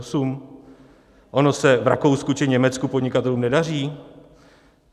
Ono se v Rakousku či Německu podnikatelům nedaří?